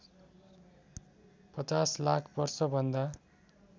५० लाख वर्षभन्दा